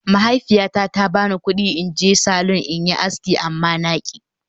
Mahaifiyata ta ba ni kudi in je salon in yi aski amma na ci